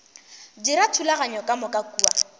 dira dithulaganyo ka moka kua